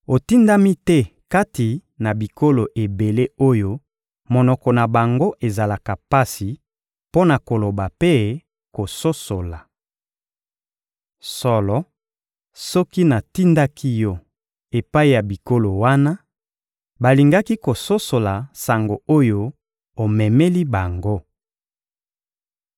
Otindami te kati na bikolo ebele oyo monoko na bango ezalaka pasi mpo na koloba mpe kososola. Solo, soki natindaki yo epai ya bikolo wana, balingaki kososola sango oyo omemeli bango.